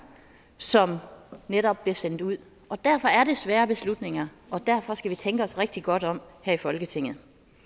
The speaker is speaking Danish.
som netop bliver sendt ud og derfor er det svære beslutninger og derfor skal vi tænke os rigtig godt om her i folketinget